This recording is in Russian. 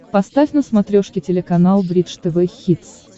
поставь на смотрешке телеканал бридж тв хитс